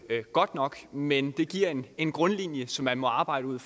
godt nok men det giver en grundlinje som man må arbejde ud